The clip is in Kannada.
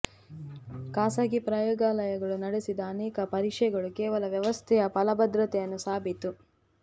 ಖಾಸಗಿ ಪ್ರಯೋಗಾಲಯಗಳು ನಡೆಸಿದ ಅನೇಕ ಪರೀಕ್ಷೆಗಳು ಕೇವಲ ವ್ಯವಸ್ಥೆಯ ಫಲಪ್ರದತೆಯನ್ನು ಸಾಬೀತು